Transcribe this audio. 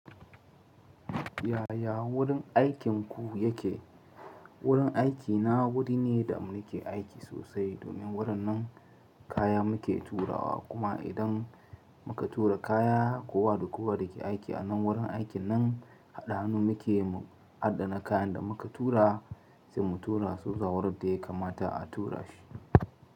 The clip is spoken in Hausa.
Yaya wurin aikinku yake? Wurin aikina wuri ne da muke aiki sosai, domin wurin nan kaya muke turawa. Kuma idan muka tura kaya, kowa da kowa da ke aiki a nan wurin aikin nan haɗa hannu muke mu adana kayan da muka tura, sai mu tura su zuwa wurin da ya kamata a tura shi.